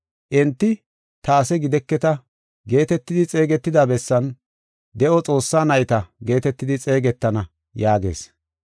Enti, ‘Ta ase gideketa’ geetetidi xeegetida bessan, ‘De7o Xoossaa nayta’ geetetidi xeegetana” yaagees.